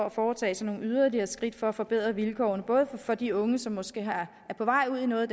at foretage sig nogle yderligere skridt for at forbedre vilkårene både for de unge som måske er på vej ud i noget